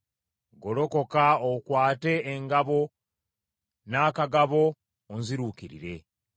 Golokoka okwate engabo, n’akagabo onziruukirire.